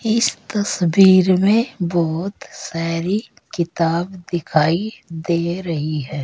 इस तस्वीर में बहोत सारी किताब दिखाई दे रही है।